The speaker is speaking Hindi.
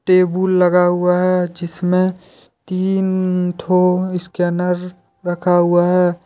टेबुल लगा हुआ है जिसमें तीन ठो स्कैनर रखा हुआ है।